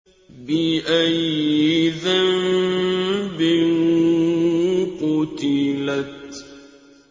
بِأَيِّ ذَنبٍ قُتِلَتْ